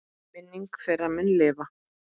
Minning þeirra mun lifa.